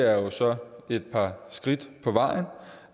er jo så et par skridt på vejen